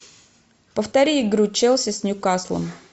повтори игру челси с ньюкаслом